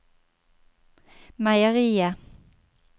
meieriet